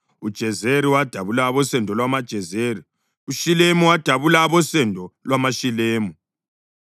uJezeri wadabula abosendo lwamaJezeri; uShilemu wadabula abosendo lwamaShilemu.